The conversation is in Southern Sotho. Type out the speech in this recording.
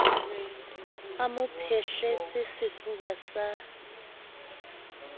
o mo phehletse sefuba sa